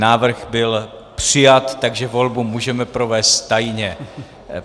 Návrh byl přijat, takže volbu můžeme provést tajně.